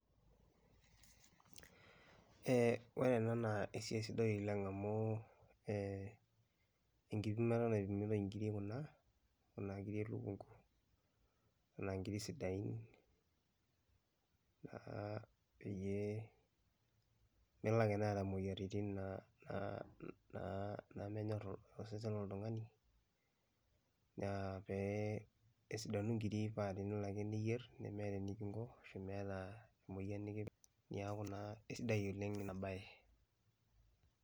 Ore ena naa esiai sidai oleng' amu enkipimata naipimitai inkiri kuna, kuna kiri elukunku. Na nkiri sidain, naa peyie melake neeta moyiaritin naa namenyorr osesen loltung'ani, na peesidanu nkiri, pa tenelo ake niyierr, nemeeta eningo, nemeeta emoyian nikipik, neeku naa kesidai oleng' enabae.